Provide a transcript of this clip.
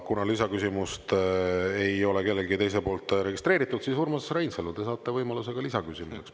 Kuna lisaküsimust ei ole kellegi teise poolt registreeritud, siis Urmas Reinsalu, te saate võimaluse ka lisaküsimuseks.